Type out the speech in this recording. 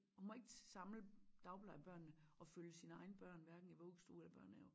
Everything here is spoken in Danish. Hun må ikke samle dagplejebørnene og følge sine egne børn hverken i vuggestue eller børnehave